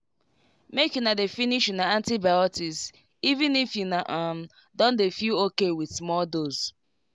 make una dey finish una antibiotics even if una um don dey feel okay with small dose.